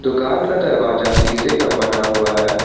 दुकान का दरवाजा सीसे का बना हुआ है।